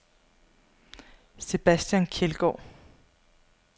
Sebastian Kjeldgaard